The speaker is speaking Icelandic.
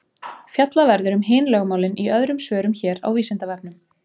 Fjallað verður um hin lögmálin í öðrum svörum hér á Vísindavefnum.